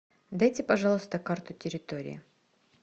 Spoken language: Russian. дайте пожалуйста карту территории